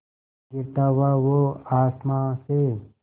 गिरता हुआ वो आसमां से